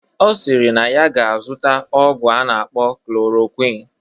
Ọ sịrị na ya ga-azụta ọgwụ a na-akpọ klorokwin